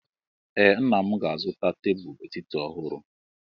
Ee, nna m ga-azụta tebụl etiti ọhụrụ.